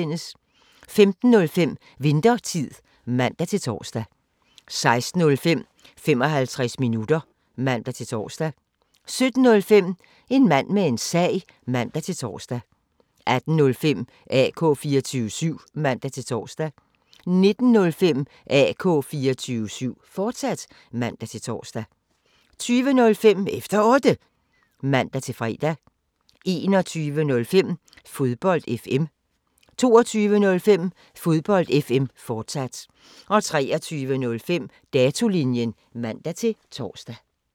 15:05: Winthertid (man-tor) 16:05: 55 minutter (man-tor) 17:05: En mand med en sag (man-tor) 18:05: AK 24syv (man-tor) 19:05: AK 24syv, fortsat (man-tor) 20:05: Efter Otte (man-fre) 21:05: Fodbold FM 22:05: Fodbold FM, fortsat 23:05: Datolinjen (man-tor)